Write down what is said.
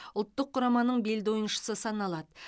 ұлттық құраманың белді ойыншысы саналады